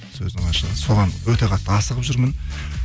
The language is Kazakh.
сөздің ашығы соған өте қатты асығып жүрмін